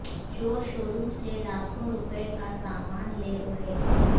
چور شوروم سے لاکھوں روپے کا سامان لے اڑے